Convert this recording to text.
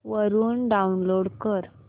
वरून डाऊनलोड कर